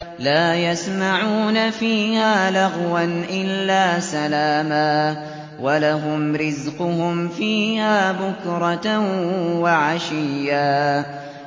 لَّا يَسْمَعُونَ فِيهَا لَغْوًا إِلَّا سَلَامًا ۖ وَلَهُمْ رِزْقُهُمْ فِيهَا بُكْرَةً وَعَشِيًّا